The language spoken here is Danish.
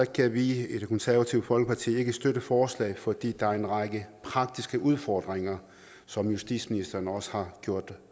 kan vi i det konservative folkeparti ikke støtte forslaget fordi der er en række praktiske udfordringer som justitsministeren også har gjort